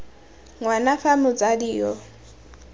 ng wana fa motsadi yo